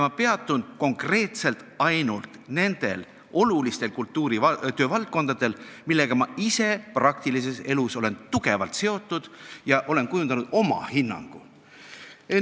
Ma peatun konkreetselt ainult nendel olulistel kultuuri valdkondadel, millega ma ise praktilises elus olen tugevalt seotud olnud ja oma hinnangu kujundanud.